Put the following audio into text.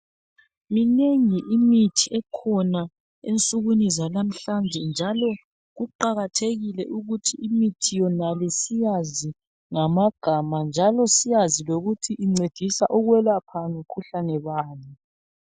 Minengi imithi ekhona ensukwini zalamhlanje, njalo kuqakathekile ukuthi imithi yonale, siyazi ngamagama, njalo siyazi ukuthi incedisa ukwelapha, mikhuhlane bani.